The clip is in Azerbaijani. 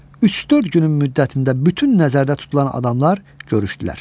Üç-dörd günün müddətində bütün nəzərdə tutulan adamlar görüşdülər.